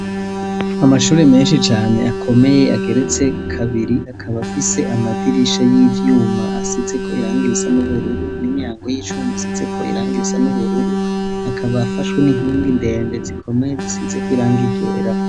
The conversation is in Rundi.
Amashuri menshi cane akomeye ageretse kabiri akaba afise amadirisha y'ivyuma asize ko irangirisa n'ubururu n'imyango y'icuma asize ko irangirisa n'ubururu hakaba afashwe n'inkingi ndemge zikomeye zisizeko irangigera.